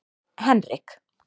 Henrik